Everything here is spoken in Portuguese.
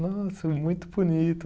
Nossa, muito bonito.